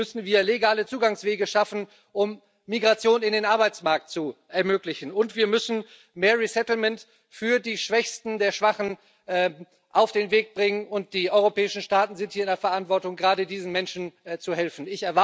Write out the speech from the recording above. Deswegen müssen wir legale Zugangswege schaffen, um Migration in den Arbeitsmarkt zu ermöglichen, und wir müssen mehr resettlement für die Schwächsten der Schwachen auf den Weg bringen, und die europäischen Staaten sind hier in der Verantwortung, gerade diesen Menschen zu helfen.